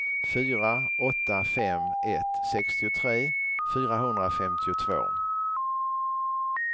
fyra åtta fem ett sextiotre fyrahundrafemtiotvå